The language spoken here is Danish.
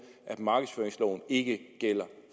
at markedsføringsloven ikke gælder